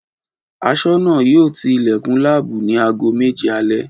Aṣọ́nà yóò ti ilẹ̀kùn láàbù ni aago méje alẹ́